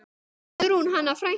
Guðrún Hanna frænka.